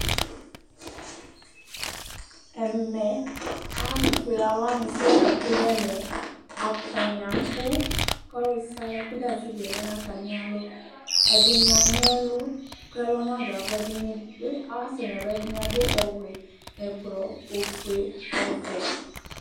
Ɛmɛ alʋfue alʋwani sɔŋ latsue nʋ ɛmɛ Atani abʋ kʋ ɔlʋ sia ɔlʋ ɛkʋ da asigɛ lɛnʋ atami alɔ ɛdini anyi ɛlʋ, kʋ ɛlɔ nadʋ ayʋ ava kʋ ɛdini bi ansɛnʋ ɛlʋ, ɛdini adʋ ɔwɛ, ɛblɔ, ofue, ɔvɛ